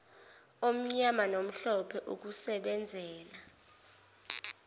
omnyama nomhlophe ukusebenzela